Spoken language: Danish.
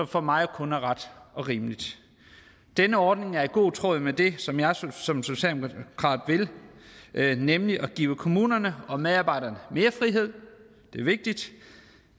for mig kun er ret og rimeligt denne ordning er i god tråd med det som jeg som socialdemokrat vil nemlig at give kommunerne og medarbejderne mere frihed det er vigtigt